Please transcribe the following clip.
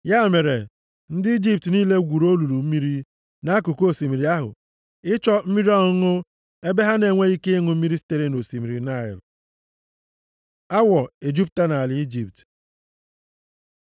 Ya mere, ndị Ijipt niile gwuru olulu mmiri nʼakụkụ osimiri ahụ ịchọ mmiri ọṅụṅụ ebe ha na-enweghị ike ịṅụ mmiri sitere nʼosimiri Naịl. Awọ ejupụta nʼala Ijipt